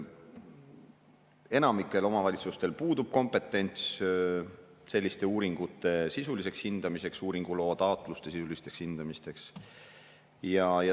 Enamikul omavalitsustel puudub kompetents selliste uuringuloa taotluste sisuliseks hindamiseks.